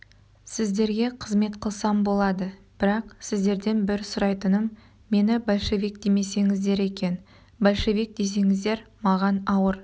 сіздерге қызмет қылсам болады бірақ сіздерден бір сұрайтыным мені большевик демесеңіздер екен большевик десеңіздер маған ауыр